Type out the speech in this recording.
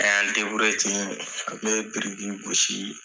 An y'an deburiye ten n bɛ biriki gosii